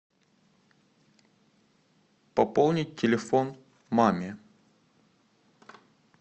пополнить телефон маме